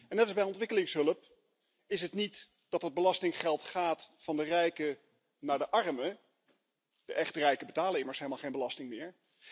Net als bij ontwikkelingshulp is het niet dat er belastinggeld gaat van de rijken naar de armen de echte rijken betalen immers helemaal geen belasting meer.